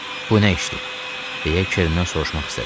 Bu nə işdir, deyə Kerndən soruşmaq istədim.